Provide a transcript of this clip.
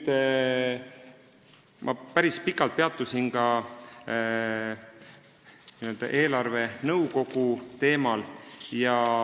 Ma päris pikalt peatusin ka eelarvenõukogu teemal.